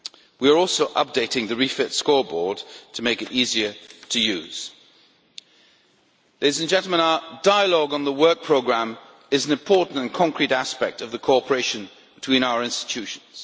We are also updating the REFIT scoreboard to make it easier to use. Our dialogue on the work programme is an important and concrete aspect of the cooperation between our institutions.